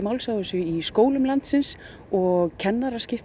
á þessu í skólum landsins og kennarar skipta